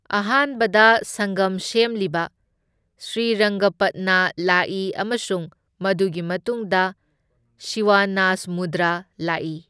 ꯑꯍꯥꯟꯕꯗ ꯁꯪꯒꯝ ꯁꯦꯝꯂꯤꯕ, ꯁ꯭ꯔꯤꯔꯪꯒꯄꯠꯅꯥ ꯂꯥꯛꯏ ꯑꯃꯁꯨꯡ ꯃꯗꯨꯒꯤ ꯃꯇꯨꯡꯗ ꯁꯤꯋꯥꯅꯥꯁꯃꯨꯗ꯭ꯔ ꯂꯥꯛꯏ꯫